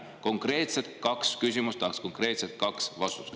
Konkreetselt kaks küsimust, tahaks kahte konkreetset vastust.